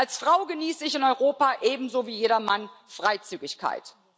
Als Frau genieße ich in Europa ebenso wie jeder Mann Freizügigkeit.